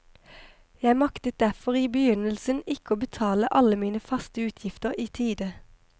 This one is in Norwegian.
Jeg maktet derfor i begynnelsen ikke å betale alle mine faste utgifter i tide.